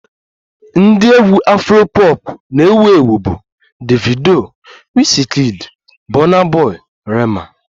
Ndị egwu Afro pọpụ na-ewu ewu bụ Davido, Wizkid, Bọna bọi, Rema